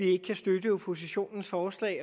ikke kan støtte oppositionens forslag